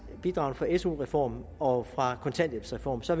bidragene fra su reformen og fra kontanthjælpsreformen så